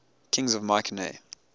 kings of mycenae